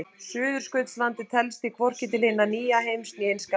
Suðurskautslandið telst því hvorki til hins nýja heims né hins gamla.